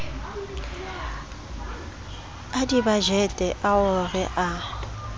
a dibajete ao re a